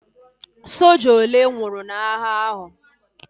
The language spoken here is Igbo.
Soja ole nwụrụ n'agha ahu?